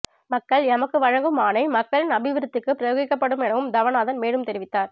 மக்கள் எமக்கு வழங்கும் ஆணை மக்களின் அபிவிருத்திக்கு பிரயோகிக்கபடும் எனவும் தவநாதன் மேலும் தெரிவித்தார்